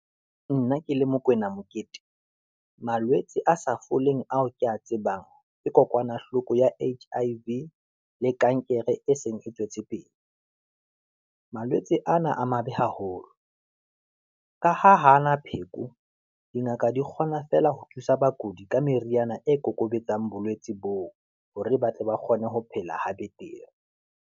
Nna ke le Mokwena Mokete, malwetse a sa foleng ao ke ya tsebang ke kokwanahloko ya HIV, le kankere e seng e tswetse pele. Malwetse a ana a mabe haholo, ka ha hana pheko dingaka di kgona fela ho thusa bakudi ka meriana e kokobetsang bolwetsi boo, hore ba tle ba kgone ho phela ha betere.